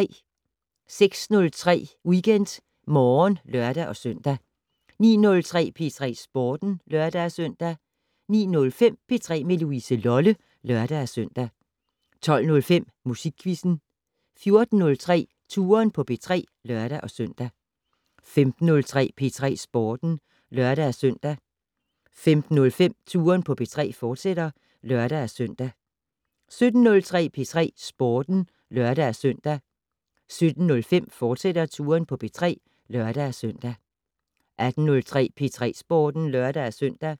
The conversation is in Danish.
06:03: WeekendMorgen (lør-søn) 09:03: P3 Sporten (lør-søn) 09:05: P3 med Louise Lolle (lør-søn) 12:05: Musikquizzen 14:03: Touren på P3 (lør-søn) 15:03: P3 Sporten (lør-søn) 15:05: Touren på P3, fortsat (lør-søn) 17:03: P3 Sporten (lør-søn) 17:05: Touren på P3, fortsat (lør-søn) 18:03: P3 Sporten (lør-søn)